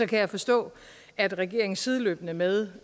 kan jeg forstå at regeringen sideløbende med